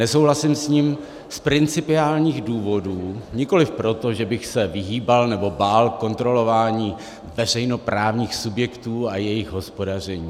Nesouhlasím s ním z principiálních důvodů, nikoliv proto, že bych se vyhýbal nebo bál kontrolování veřejnoprávních subjektů a jejich hospodaření.